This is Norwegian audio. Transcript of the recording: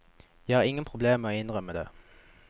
Jeg har ingen problemer med å innrømme det.